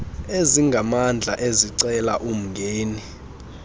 ezingamandla ezicela umngeni